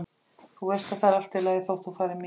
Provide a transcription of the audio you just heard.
Þú veist að það er allt í lagi þótt þú farir mín vegna.